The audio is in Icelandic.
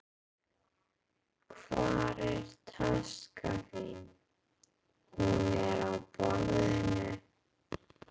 Hvar er taskan þín? Hún er á borðinu.